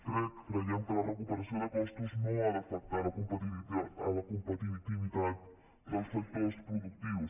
crec creiem que la recuperació de costos no ha d’afectar la competitivitat dels sectors productius